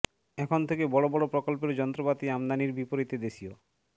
এখন থেকে বড় বড় প্রকল্পের যন্ত্রপাতি আমদানির বিপরীতে দেশীয়